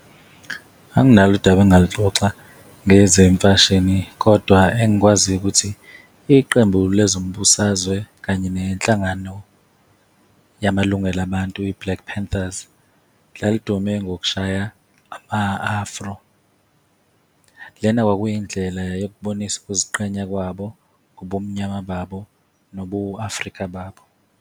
Anginalo udaba engingaluxoxa ngezemfashini, kodwa engikwaziyo ukuthi iqembu lezombusazwe kanye nenhlangano yamalungelo abantu, i-Black Panthers lalidume ngokushaya ama-Afro. Lena kwakuyindlela yokubonisa ukuziqhenya kwabo ngobumnyama babo, nobu-Afrika babo.